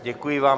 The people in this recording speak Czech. Děkuji vám.